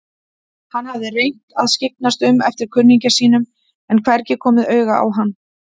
Hann hafði reynt að skyggnast um eftir kunningja sínum en hvergi komið auga á hann.